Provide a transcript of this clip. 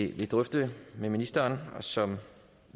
vil drøfte med ministeren og som vi